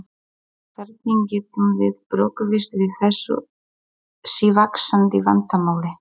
Hvernig getum við brugðist við þessu sívaxandi vandamáli?